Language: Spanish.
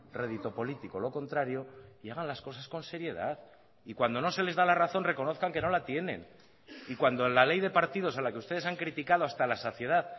rédito político lo contrario y hagan las cosas con seriedad y cuando no se les da la razón reconozcan que no la tienen y cuando la ley de partidos a la que ustedes han criticado hasta la saciedad